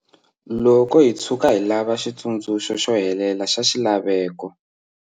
Loko hi tshuka hi lava xitsundzuxo xo helela xa xilaveko